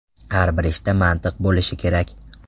Har bir ishda mantiq bo‘lishi kerak.